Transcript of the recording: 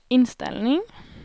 inställning